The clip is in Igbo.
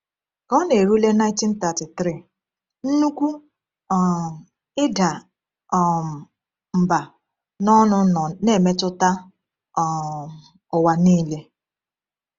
Ka ọ na-erule 1933, Nnukwu um Ịda um Mbà n’Ọnụ nọ na-emetụta um ụwa niile.